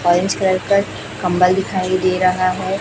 Orange colour का कंबल दिखाई दे रहा है।